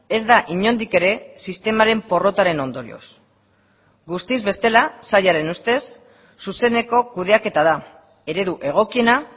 ez da inondik ere sistemaren porrotaren ondorioz guztiz bestela sailaren ustez zuzeneko kudeaketa da eredu egokiena